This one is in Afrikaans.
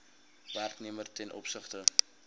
werknemer ten opsigte